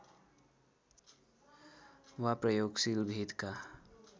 वा प्रयोगशील भेदका